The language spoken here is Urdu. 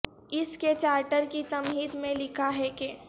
اس کے چارٹر کی تمہید میں لکھا ہے کہ